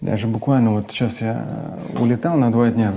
я же буквально вот сейчас я улетал на два дня